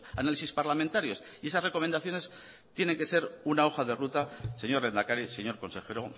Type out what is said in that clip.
análisis parlamentarios y esas recomendaciones tienen que ser una hoja de ruta señor lehendakari señor consejero